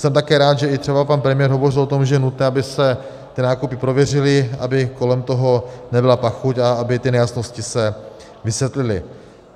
Jsem také rád, že i třeba pan premiér hovořil o tom, že je nutné, aby se ty nákupy prověřily, aby kolem toho nebyla pachuť a aby ty nejasnosti se vysvětlily.